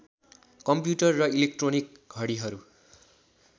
computer र electronic घडिहरू